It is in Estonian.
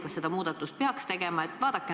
Kas selle muudatuse peaks tegema?